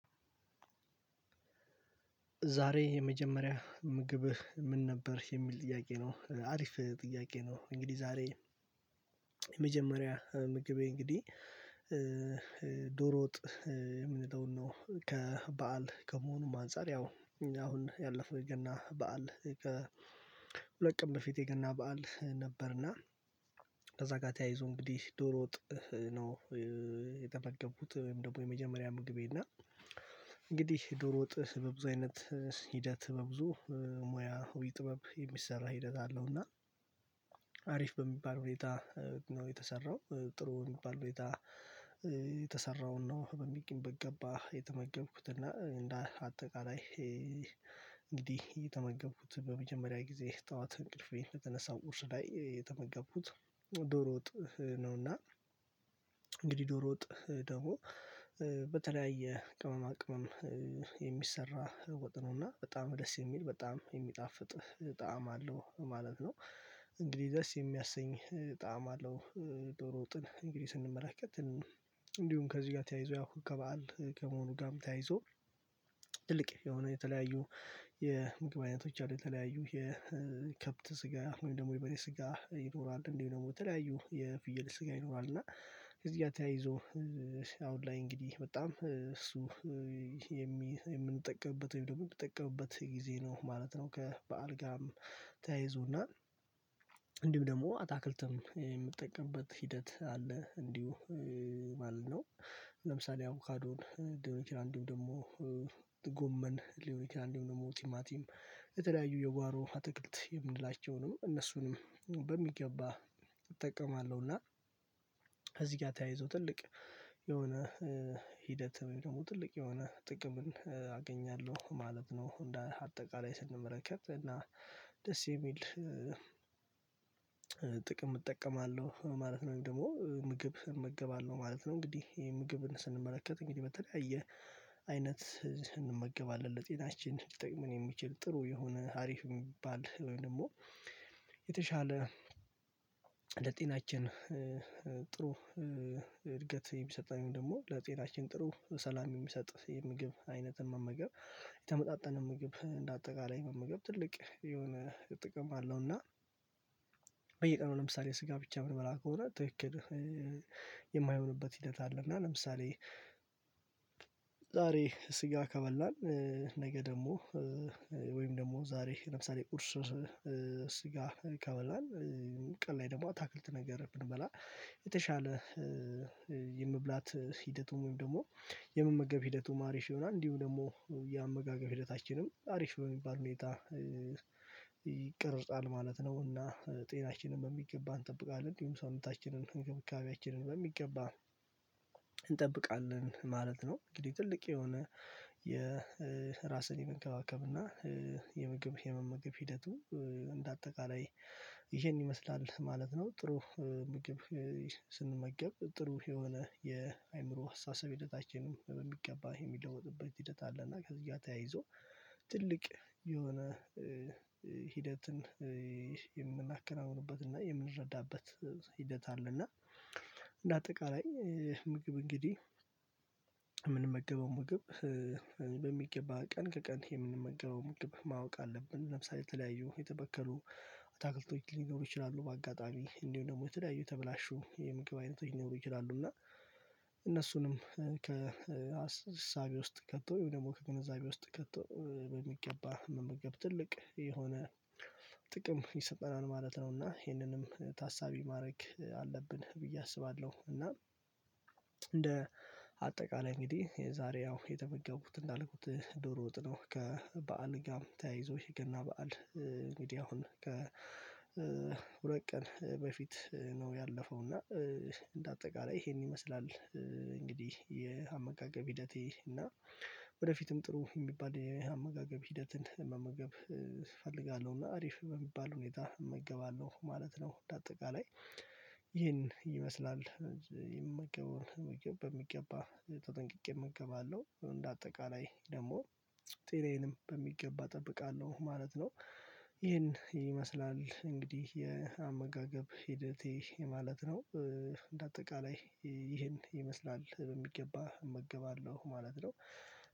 ዛሬ የመጀመሪያ ምግብህ ምን ነበር የሚል ጥያቄ ነው አሪፍ ጥያቄ ነው። እንግዲህ ዛሬ የመጀመሪያ ምግቤ እንግዲህ ዶሮ ወጥ የምንለውን ነው ከበዓል ከመሆኑም አንፃር ያው አሁን ያለፈው የገና በዓል። ሁለት ቀን በፊት የገና በዓል ነበርና ከዛ ጋር ተያይዞ እንግዲህ ዶሮ ወጥ ነው። የተበገብኩት ወይም ደግሞ የመጀመሪያ ምግቤ እና እንግዲህ ዶሮ ወጥህ በብዙ አይነት ሂደት በብዙ ሙያ ወይ ጥበብ የሚሰራ ሂደት አለው። እና አሪፍ በሚባል ሁኔታ ነው የተሰራው ጥሩ የሚባል ሁኔታ የተሰራውን ነው በሚቀንበት ገባ የተመገብኩት እና እንደ አጠቃላይ እንግዲህ የተመገብኩት በመጀመሪያ ጊዜ ጠዋት እንቅልፌን በተነሳው ቁርስ ላይ የተመገብኩት ዶሮ ወጥ ነውና። እንግዲህ ዶሮ ወጥ ደግሞ በተለያየ ቅመማ ቅመም ወጥ ነውና በጣም ደስ የሚል በጣም የሚጣፍጥ ጣዕም አለው ማለት ነው። እንግዲህ ደስ የሚያሰኝ ጣዕም አለው። ዶሮ ወጥን እንግዲህ ስንመለከት እንዲሁም ከዚህ ጋር ተያይዞ ያው ከበዓል ከመሆኑ ጋርም ተያይዞ ትልቅ የሆነ የተለያዩ የምግብ አይነቶች አሉ የተለያዩ የከብት ስጋ ወይም ደግሞ የበሬ ስጋ ይኖራል እንዲሁ ደግሞ በተለያዩ የፍየል ስጋ ይኖራል። እና እዚህ ጋር ተያይዞ አሁን ላይ እንግዲህ በጣም እሱ የምንጠቀምበት ወይም የምንጠቀምበት ጊዜ ነው ማለት ነው። ከበዓል ጋርም ተያይዞና እንዲህም ደግሞ አታክልትም የምትጠቀምበት ሂደት አለ እንዲሁ ማለት ነው። ለምሳሌ አቦካዶን ሊሆን ይችላል ደግሞ ጎመን ሊሆን ይችላል ደግሞ ቲማቲም የተለያዩ የጓሮ አትክልት የምንላቸውንም እነሱንም በሚገባ እጠቀማለሁና። እዚህ ጋር ተያይዞ ትልቅ የሆነ ሂደት ደግሞ ትልቅ የሆነ ጥቅም አገኛለሁ ማለት ነው። እንደ አጠቃላይ ስንመለከት እና ደስ የሚል ጥቅም እጠቀማለሁ ማለት ነው። ደግሞ ምግብ እመገባለሁ ማለት ነው እንግዲህ ምግብን ስንመለከት እንግዲህ በተለያየ አይነት እንመገባለን ለጤናችን ሊጠቅመን የሚችል ጥሩ የሆነ አሪፍ የሚባል ወይም ደግሞ የተሻለ ለጤናችን እድገት የሚሰጠኝ ደግሞ ለጤናችን ጥሩ ሰላም የሚሰጥ የምግብ አይነትን መመገብ የተመጣጠን ምግብ እንደ አጠቃላይ መመገብ ትልቅ የሆነ ጥቅም አለውና። በየቀኑ ለምሳሌ ስጋ ብቻ ምርመራ ከሆነ ተክል የማይሆንበት ሂደት አለ። እና ለምሳሌ ዛሬ ስጋ ከበላን ነገ ደግሞ ወይም ደግሞ ዛሬ ለምሳሌ ቁርስ ስጋ ይከበላል ቀን ላይ ደግሞ አታክልት ነገር ብንበላ የተሻለ የመብላት ሂደቱን ወይም ደግሞ የመመገብ ሂደቱ ማሪሽ ዮናስ እንዲሁ ደግሞ የአመጋገብ ሂደታችንም አሪፍ ስለሚባል ሁኔታ። ይቅርጻል ማለት ነው እና ጤናችንን በሚገባ እንጠብቃለን እንዲሁም ሰውነታችንን እንግብካቤያችንን በሚገባ እንጠብቃለን ማለት ነው። እንግዲህ ትልቅ የሆነ የራስን የመንከባከብ እና የመመገብ ሂደቱ እንደ አጠቃላይ ይሄን ይመስላል ማለት ነው። ጥሩ ምግብ ስንመገብ ጥሩ የሆነ የአእምሮ አስተሳሰብ ሂደታችንም በሚገባ የሚለወጥበት ሂደት አለና ከዚያ ተያይዞ ትልቅ የሆነ ሂደትን የምናከናውንበትና እና የምንረዳበት ሂደት አለ። እና እንደ አጠቃላይ ምግብ እንግዲህ የምንመገበው ምግብ በሚገባ ቀን ከቀን የምንመገበው ምግብ ማወቅ አለብን። ለምሳሌ የተለያዩ የተበከሉ አታክል ቶች ሊኖሩ ይችላሉ በአጋጣሚ እንዲሁ ደግሞ የተለያዩ ተበላሹ የምግብ አይነት ሊኖሩ ይችላሉ እና እነሱንም ከአስር እሳቤ ውስጥ ከቶ ይሄው ደግሞ ከግንዛቤ ውስጥ ከቶ የሚገባ መመገብ ትልቅ የሆነ ጥቅም ይሰጠናል። ማለት ነውና ይሄንንም ታሳቢ ማድረግ አለብን ብዬ አስባለሁ። እና እንደ አጠቃላይ እንግዲህ የዛሬ ያው የተገቡት እንዳልኩት ዶሮ ወጥ ነው ከበዓል ጋር ተያይዞ ይህ የገና በዓል ሚዲያውን ከሁለት ቀን በፊት ነው። ያለፈው እና አጠቃላይ ይሄን ይመስላል እንግዲህ የአመጋገብ ሂደቴ እና ወደፊትም ጥሩ የሚባል የአመጋገብ ሂደትን መመገብ እፈልጋለሁ እና አሪፍ በሚባል ሁኔታ እመገባለሁ ማለት ነው። እንደ አጠቃላይ ይህን ይመስላል የምገበውን በሚገባ ተጠንቅቄ እመገባለሁ እንደ አጠቃላይ ደግሞ ጤናዬንም በሚገባ እጠብቃለሁ ማለት ነው። ይሄን ይመስላል እንግዲህ የአመጋገብ ሂደቴ ማለት ነው። እንደ አጠቃላይ ይሄን ይመስላል በሚገባ እመገባለሁ ማለት ነው።